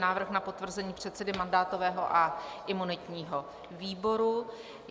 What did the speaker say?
Návrh na potvrzení předsedy mandátového a imunitního výboru